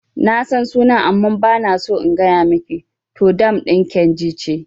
Nasan sunan amma bana so in gaya miki, to dam ɗin kainji ce